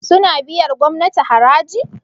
suna biyar gomnati haraji?